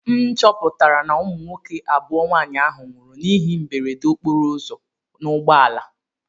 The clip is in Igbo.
M chọpụtara na ụmụ nwoke abụọ nwaanyị ahụ nwụrụ n'ihe mberede okporoụzọ n'ụgbọala.